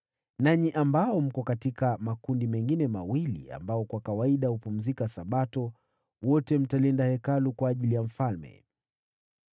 nanyi ambao mko katika makundi mengine mawili ambao kwa kawaida hupumzika Sabato, wote mtalinda Hekalu kwa ajili ya mfalme.